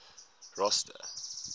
rosta